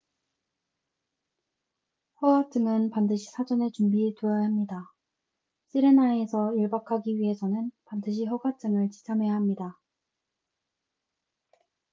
허가증은 반드시 사전에 준비해 두어야 합니다 sirena에서 일박 하기 위해서는 반드시 허가증을 지참해야 합니다